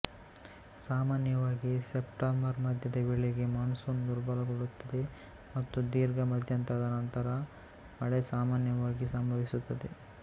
ಸಾಮಾನ್ಯವಾಗಿ ಸೆಪ್ಟೆಂಬರ್ ಮಧ್ಯದ ವೇಳೆಗೆ ಮಾನ್ಸೂನ್ ದುರ್ಬಲಗೊಳ್ಳುತ್ತದೆ ಮತ್ತು ದೀರ್ಘ ಮಧ್ಯಂತರದ ನಂತರ ಮಳೆ ಸಾಮಾನ್ಯವಾಗಿ ಸಂಭವಿಸುತ್ತದೆ